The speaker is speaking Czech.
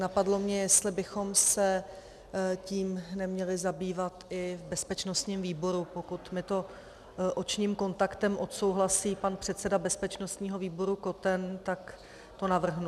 Napadlo mě, jestli bychom se tím neměli zabývat i v bezpečnostním výboru, pokud mi to očním kontaktem odsouhlasí pan předseda bezpečnostního výboru Koten, tak to navrhnu.